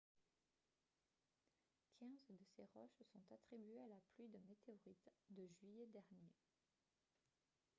quinze de ces roches sont attribuées à la pluie de météorites de juillet dernier